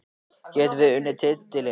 Getum við unnið titilinn?